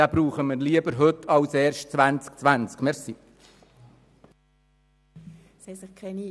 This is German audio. Wir benötigen ihn besser schon heute als erst im Jahr 2020.